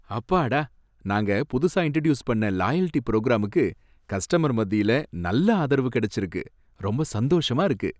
அப்பாடா! நாங்க புதுசா இன்டர்டியூஸ் பண்ண லாயல்டி ப்ரோக்ராமுக்கு கஸ்டமர் மத்தியில நல்ல ஆதரவு கடைச்சிருக்கு! ரொம்ப சந்தோஷமா இருக்கு.